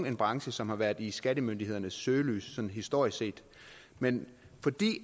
en branche som har været i skattemyndighedernes søgelys historisk set men fordi